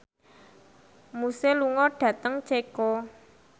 Muse lunga dhateng Ceko